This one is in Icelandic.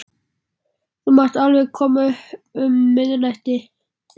Þú mátt alveg koma um miðnættið.